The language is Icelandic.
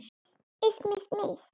Ég hringi allan daginn.